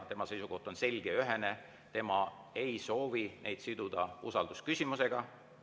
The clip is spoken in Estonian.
Tema seisukoht on selge ja ühene, et tema ei soovi neid siduda usaldusküsimusega.